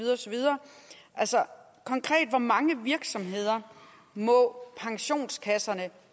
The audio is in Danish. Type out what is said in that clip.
videre altså konkret hvor mange virksomheder må pensionskasserne